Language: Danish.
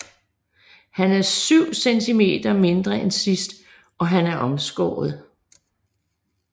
Han er syv centimeter mindre end sidst og han er omskåret